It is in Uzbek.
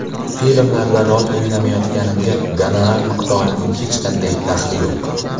Filmlarda rol o‘ynamayotganimga gonorar miqdorining hech qanday daxli yo‘q.